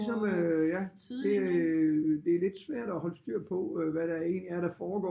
Ligesom ja det det lidt svært at holde styr på hvad der egentlig er der foregår